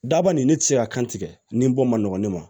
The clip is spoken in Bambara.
Daba nin ne tɛ se ka kan tigɛ nin bɔ ma nɔgɔ ne ma